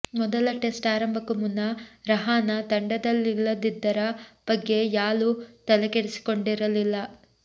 ಮೊದಲ ಟೆಸ್ಟ್ ಆರಂಭಕ್ಕೂ ಮುನ್ನ ರಹಾನ ತಂಡದಲ್ಲಿಲ್ಲದ್ದರ ಬಗ್ಗೆ ಯಾಲೂ ತಲೆ ಕೆಡಿಸಿಕೊಂಡಿರಲಿಲ್ಲ